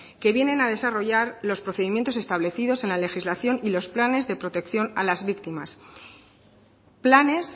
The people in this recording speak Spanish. que vienen a desarrollar los procedimientos establecidos en la legislación y los planes de protección a las víctimas planes